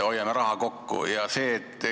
Hoiame raha kokku!